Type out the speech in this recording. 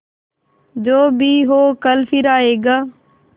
जो भी हो कल फिर आएगा